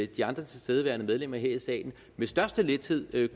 de andre tilstedeværende medlemmer her i salen med største lethed